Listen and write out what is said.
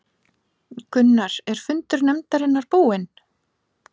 Gunnar, er fundur nefndarinnar búinn?